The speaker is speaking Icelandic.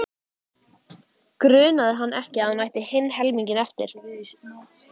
Grunaði hann ekki að hún ætti hinn helminginn eftir?